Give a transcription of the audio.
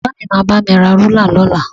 Bàbá mi máa bá mi ra rúlà lọ́la